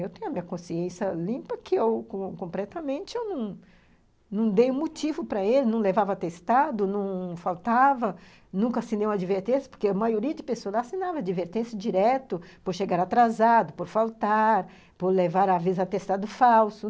Eu tenho a minha consciência limpa que eu, completamente, eu não não dei um motivo para ele, não levava atestado, não faltava, nunca assinei uma advertência, porque a maioria de pessoas assinava advertência direto por chegar atrasado, por faltar, por levar, às vezes, atestado falso.